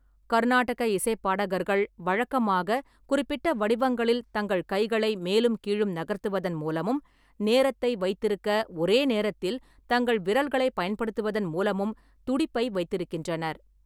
கருநாடக இசைப் பாடகர்கள் வழக்கமாக குறிப்பிட்ட வடிவங்களில் தங்கள் கைகளை மேலும் கீழும் நகர்த்துவதன் மூலமும், நேரத்தை வைத்திருக்க ஒரே நேரத்தில் தங்கள் விரல்களைப் பயன்படுத்துவதன் மூலமும் துடிப்பை வைத்திருக்கின்றனர்.